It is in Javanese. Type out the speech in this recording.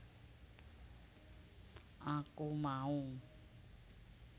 Aku Mau